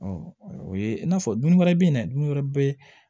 o ye i n'a fɔ dun wɛrɛ bɛ yen dɛ dumuni wɛrɛ bɛ